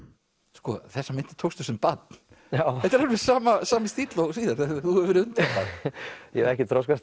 sko þessar myndir tókstu sem barn þetta er alveg sami sami stíll og síðar þú hefur þú hefur verið undrabarn ég hef ekkert þroskast